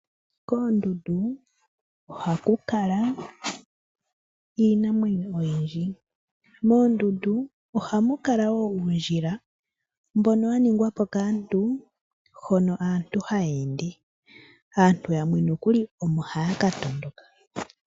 Koondundu oha ku kala iinamwenyo oyindji. Moondundu ohamu kala wo uundjila mbono wa ningwa po kaantu hono aantu haya ende. Aantu yamwe nokuli omo haya ka tondoka.